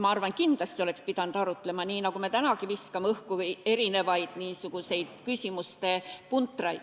Ma arvan, et kindlasti oleks pidanud arutlema, nii nagu me tänagi viskame õhku niisuguseid küsimuste puntraid.